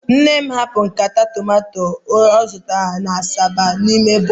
Nne'm hapụrụ nkata tomato ọ zụtara na asaba n'ime bọs